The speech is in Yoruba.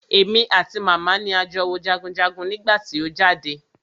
Èmi àti màmá mi ni a jọ wo jagunjagun nígbà tí o jáde.